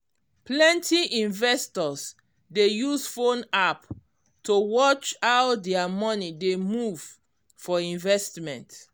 plenty investors dey use phone app to watch how dia money dey move for investment